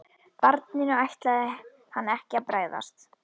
Barninu ætlaði hann ekki að bregðast.